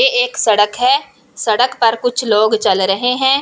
ये एक सड़क है सड़क पर कुछ लोग चल रहे हैं।